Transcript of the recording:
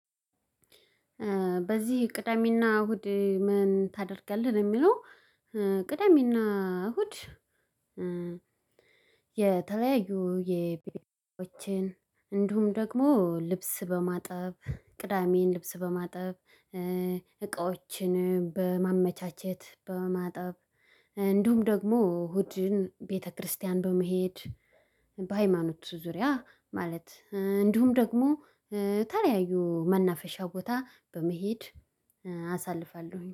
በዚህ ቅዳሜና እሁድ ምን ታደርጋለህ የሚለው? ቅዳሜና እሁድ። የተለያዩ የቤሊንጋዎችን እንዲሁም ደግሞ ልብስ በማጠብ ቅዳሜን ልብስ በማጠብ። እቃዎችን በማጠብ እንዲሁም ደግሞ እሁድን ቤተክርስቲያን በመሄድ። በሃይማኖት ዙሪያ ማለት እንዲሁም ደግሞ ተለያዩ መናፈሻ ቦታ በመሄድ አሳልፋለሁኝ